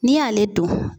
N'i y'ale don